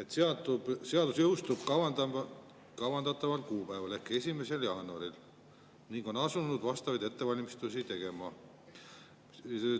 et seadus jõustub kavandataval kuupäeval ehk 1. jaanuaril, ning on asunud vastavaid ettevalmistusi tegema.